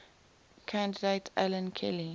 candidate alan kelly